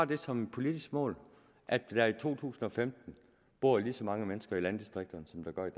det som politisk mål at der i to tusind og femten bor lige så mange mennesker i landdistrikterne som der gør i